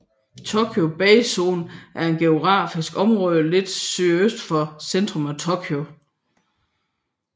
Tokyo Bay zone er et geografisk område lidt sydøst for centrum af Tokyo